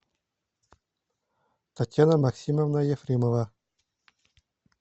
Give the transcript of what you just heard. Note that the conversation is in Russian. татьяна максимовна ефремова